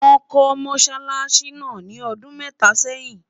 wón kò mosálási nà ní ọdún méta sẹyìn